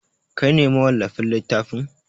Kai ne mawallafin littafin?